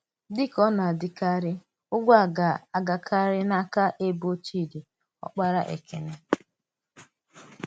Dị̀ ka ọ̀ na-adị̀karị̀, ùgwù̀ a gā-agàkarị̀ n’áka èbò Chídì, ọ́kpàrà Èkénè.